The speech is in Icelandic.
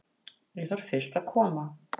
Ég þarf fyrst að koma